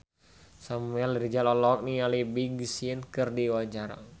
Samuel Rizal olohok ningali Big Sean keur diwawancara